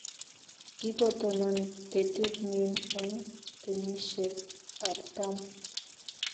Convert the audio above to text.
Kigotonon ketit nin eng kenyishiek artam---